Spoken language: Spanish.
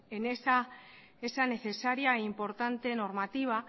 en esa necesaria e importante normativa